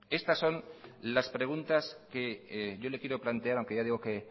estas son las preguntas que yo le quiero plantear aunque ya digo que